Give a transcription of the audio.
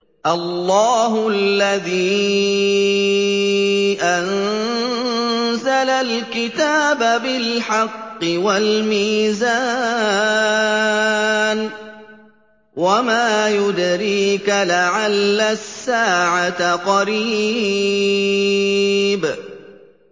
اللَّهُ الَّذِي أَنزَلَ الْكِتَابَ بِالْحَقِّ وَالْمِيزَانَ ۗ وَمَا يُدْرِيكَ لَعَلَّ السَّاعَةَ قَرِيبٌ